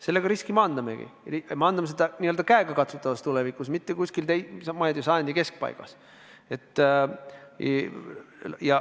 Sellega me riski maandamegi, ja maandame seda käegakatsutavas tulevikus, mitte kuskil, ma ei tea, sajandi keskpaigas.